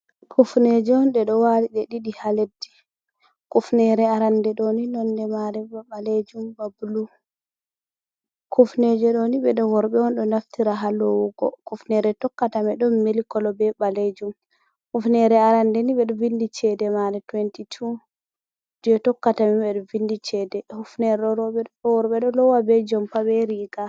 Kufneje'on ɗe ɗo wali ɗe ɗiɗi ha leddi. Kufnere arande ɗoni nonde mare ba ɓalejum ba bulu. kufneje ɗoni woni worɓe'on ɗo naftira ha lowugo kufnere tokkata mai ɗon mili koloo be ɓalejum. Kufnere arande ni ɓeɗo windi chede mare tuwenti tuu, je tokkata mai ɓeɗo windi chede. Hufnere roɓe be worɓe ɗo lowa be jompa be riga.